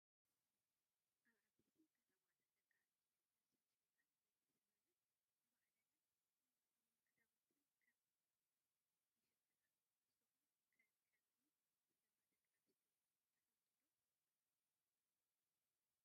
ኣብ ዓበይቲ ከተማታት ደቂ ኣንስተዮ ነብሰን ሸይጠይ ንቤተሰበንን ንባዕለንን ንምግብን ክዳውንትን ከም ይሽፍና። ንስኹም ኸ ከምዚ ዝገብራ ደቂ ኣንስትዮ ትፈልጡ ዶ?